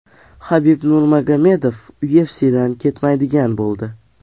Habib Nurmagomedov UFC’dan ketmaydigan bo‘ldi.